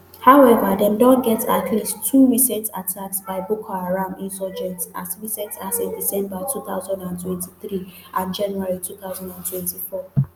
however dem don get at least two recent attacks by boko haram insurgents as recent as in december two thousand and twenty-three and january two thousand and twenty-four